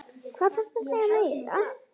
Hvað þarftu að segja meira?